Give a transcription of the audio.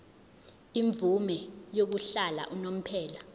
imvume yokuhlala unomphela